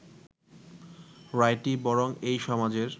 রায়টি বরং এই সমাজের